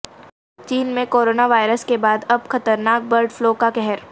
چین میں coronavirus کے بعد اب خطرناک برڈ فلو کا قہر